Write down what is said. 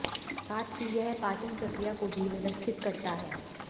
साथ ही यह पाचन प्रक्रिया को भी व्यवस्थित करता है